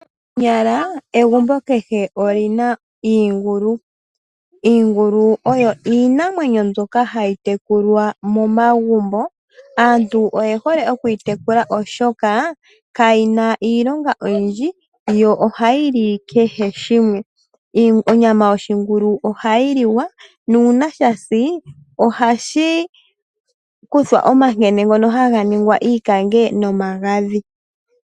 Konyala kehe egumbo olyina iingulu. Iingulu oyo iinamwenyo mbyoka hayi tekulwa momagumbo, aantu oye hole okuyi tekula, oshoka kayina iilonga oyindji yo ohayi li kehe shimwe. Onyama yoshingulu ohayi li wa. Nuuna sha si ohashi kuthwa omankene ngono haga ningwa iikange nomagadhi.